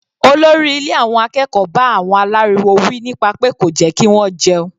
Olórí ilé àwọn akẹ́kọ̀ọ́ bá àwọn aláriwo wí nípa pé kò jẹ́ kí wọ́n jẹun.